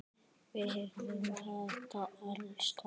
Við heyrum þetta alls staðar.